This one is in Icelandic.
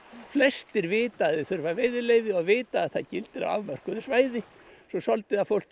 flestir vita að þeir þurfa veiðileyfi og vita að það gildir á afmörkuðu svæði svo er svolítið af fólki